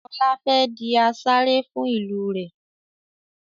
Ọlá fẹ́ di asarè fún ìlú rẹ̀